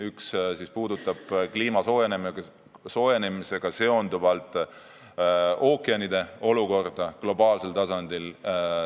Üks puudutab kliima soojenemisega seonduvalt ookeanide olukorda globaalsel tasandil.